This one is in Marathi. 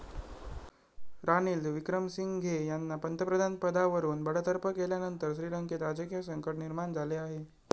रानिल विक्रमसिंघे यांना पंतप्रधानपदावरून बडतर्फ केल्यानंतर श्रीलंकेत राजकीय संकट निर्माण झाले आहे.